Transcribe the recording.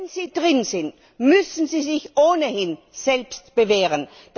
Wenn sie drin sind, müssen sie sich ohnehin selbst bewähren.